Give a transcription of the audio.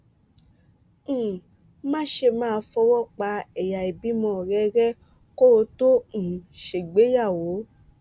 um máṣe máa fọ́wọ pa ẹ̀yà ìbímọ rẹ rẹ kó o tó um ṣègbéyàwó